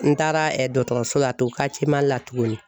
N taara dɔkɔtɔrɔso la tun Karitiye Mali la tuguni